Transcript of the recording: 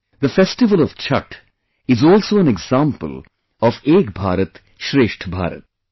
The festival of Chhath is also an example of 'Ek Bharat Shrestha Bharat'